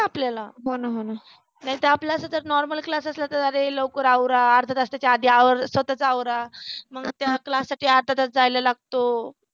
ना आपल्याला नाहीतर आपल्या असत तर normal class असला तर अरे लवकर आवरा अर्धा अर्ध्या तासाच्या आधी आवर स्वतःचा आवरा मग त्या class साठी अर्धा तास जायला लागतो.